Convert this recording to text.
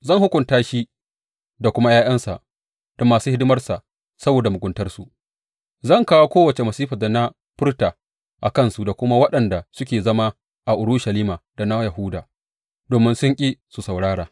Zan hukunta shi da kuma ’ya’yansa da masu hidimarsa saboda muguntarsu; zan kawo kowace masifar da na furta a kansu da kuma waɗanda suke zama a Urushalima da na Yahuda, domin sun ƙi su saurara.’